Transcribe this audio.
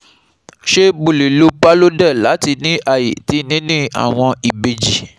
Ṣe Mo le lo Parlodel lati ni aye ti nini awọn ibeji